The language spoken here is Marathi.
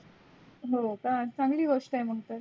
हो का चांगली गोष्टी आहे मग तर.